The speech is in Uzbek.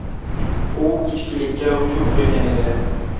U ichkilikka ruju qo‘ygan edi.